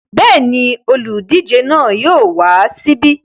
Bẹ́ẹ̀ ni, olùdíje náà yóò wá síbí.